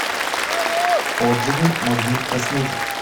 отзывы магнит косметик